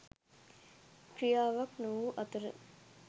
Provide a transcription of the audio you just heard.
ක්‍රියාවක් නොවූ අතර